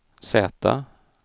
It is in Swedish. Z